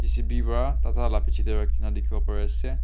J_C_B para tata la piche de rakhi na dikhi bo pare ase.